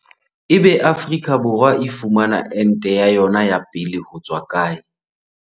Ebe Afrika Borwa e fumana ente ya yona ya pele hotswa kae?